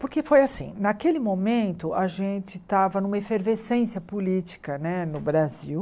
Porque foi assim, naquele momento a gente estava numa efervescência política né no Brasil.